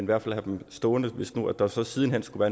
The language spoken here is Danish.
hvert fald have dem stående hvis der så siden hen skulle